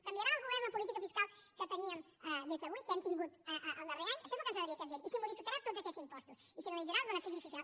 canviarà el govern la política fiscal que teníem des d’avui que hem tingut el darrer any això és el que ens agradaria que ens digués i si modificarà tots aquests impostos i si analitzarà els beneficis fiscals